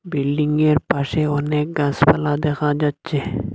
বিল্ডিংয়ের পাশে অনেক গাসপালা দেখা যাচ্চে।